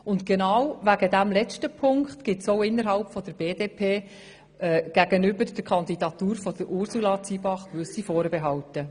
Genau wegen dieses letzten Punkts gibt es auch innerhalb der BDP-Fraktion gegenüber der Kandidatur von Ursula Zybach gewisse Vorbehalte.